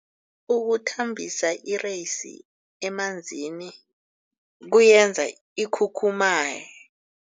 Ukuthambisa ireyisi emanzini kuyenza ikhukhumaye.